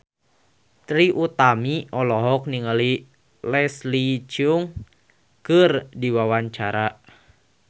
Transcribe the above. Trie Utami olohok ningali Leslie Cheung keur diwawancara